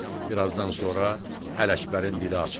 Bir azdan sonra Ələkbərin dili açılır.